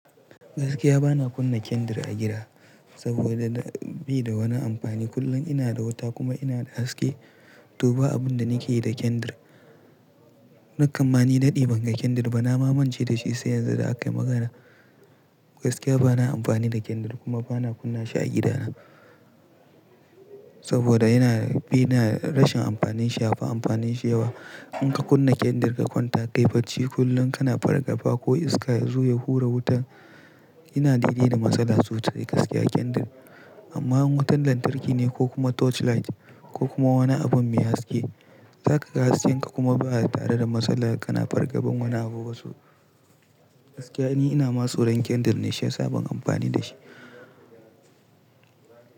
Gaskiya bana kunna candle gida saboda beda wani amfani. Kullum inada wuta kuma inada haske to ba abun da nakeyi da candle. Nakam ma ni daɗe banga candle ba. Nama mance dashi sai yanzu da akayi maganar. Gaskiya bana amfani da candle kuma bana kunnashi a gidana. Saboda yana bi na rashin amfanin shi. Yafi amfanin shi yawa. Inka kunna candle ka kwanta, kai bacci kullum kana fargafa ko iska yazo ya hura wutar. Ina daidai da matsala sosai gaskiya candle. Amma in wutan lantarki ne ko kuma torchlight ko kuma wani abun mai haske zakaga hasken ka kuma baya tare da matsala kana fargaban wani abuba so. Gaskiya ni inama tsoran candle ne shiyasa ban amfani dashi.